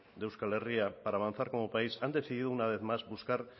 de euskal herria para avanzar como país han decidido una vez más buscar